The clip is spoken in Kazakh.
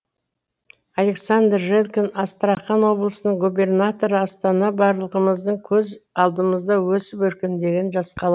александр желкин астрахань облысының губернаторы астана барлығымыздың көз алдымызда өсіп өркендеген жас қала